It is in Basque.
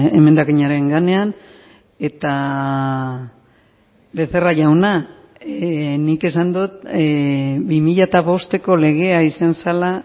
emendakinaren gainean eta becerra jauna nik esan dut bi mila bosteko legea izan zela